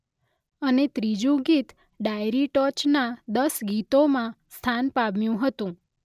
અને ત્રીજુ ગીત ડાયરી ટોચના દસ ગીતોમાં સ્થાન પામ્યું હતું.